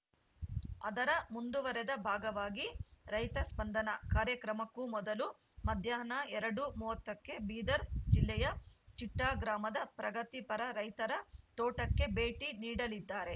ಅದರ ಮುಂದುವರೆದ ಭಾಗವಾಗಿ ರೈತ ಸ್ಪಂದನ ಕಾರ್ಯಕ್ರಮಕ್ಕೂ ಮೊದಲು ಮಧ್ಯಾಹ್ನ ಎರಡು ಮೂವತ್ತ ಕ್ಕೆ ಬೀದರ್‌ ಜಿಲ್ಲೆಯ ಚಿಟ್ಟಾಗ್ರಾಮದ ಪ್ರಗತಿಪರ ರೈತರ ತೋಟಕ್ಕೆ ಭೇಟಿ ನೀಡಲಿದ್ದಾರೆ